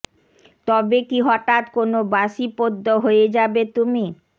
তবে কি হঠাৎ কোনো বাসি পদ্য হয়ে যাবে তুমি